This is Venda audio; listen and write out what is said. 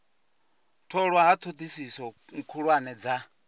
tholwa ha thodisiso khuhulwane dza